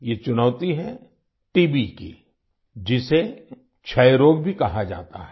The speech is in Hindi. ये चुनौती है टीबी की जिसे क्षय रोग भी कहा जाता है